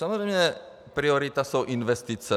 Samozřejmě priorita jsou investice.